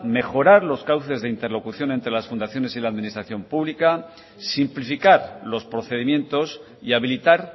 mejorar los cauces de interlocución entre las fundaciones y la administración pública simplificar los procedimientos y habilitar